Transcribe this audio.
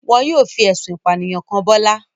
Wọn yóò fi ẹ̀sùn ìpànìyàn kàn Bọ́lá.